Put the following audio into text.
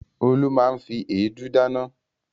Olú máa ń fi èédú dáná.